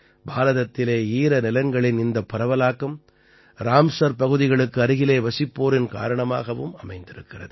பாரதத்திலே ஈரநிலங்களின் இந்த பரவலாக்கம் ராம்ஸர் பகுதிகளுக்கு அருகிலே வசிப்போரின் காரணமாகவும் அமைந்திருக்கிறது